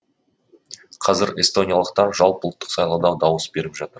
қазір эстониялықтар жалпыұлттық сайлауда дауыс беріп жатыр